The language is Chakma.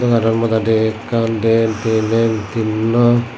te aro madadi ekkan dien tinen tinno.